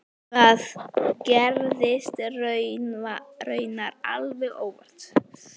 Það gerðist raunar alveg óvart.